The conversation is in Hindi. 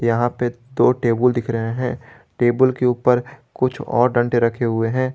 यहां पे दो टेबुल दिख रहे हैं टेबुल के ऊपर कुछ और डंटे रखे हुए हैं।